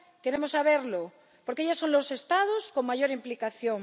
Queremos saberlo, porque ellos son los Estados con mayor implicación.